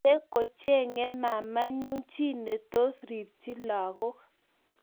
Miten kochengei mamaenyu chi netos ripchi lagook